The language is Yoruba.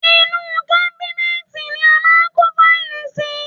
Inú u kábínẹ́ẹ̀tì ni a máa ń kó fáìlì sí.